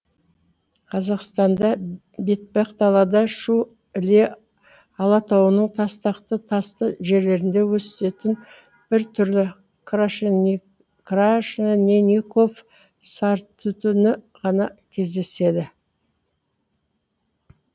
қазақстанда бетпақдалада шу іле алатауының тастақты тасты жерлерінде өсетін бір түрі крашенинников сарытүтікі ғана кездеседі